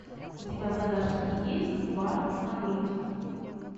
у тебя в загашнике есть бар на грудь